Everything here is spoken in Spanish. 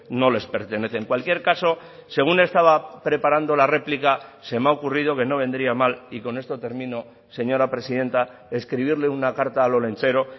no les pertenece en cualquier caso según estaba preparando la réplica se me ha ocurrido que no vendría mal y con esto termino señora presidenta escribirle una carta al olentzero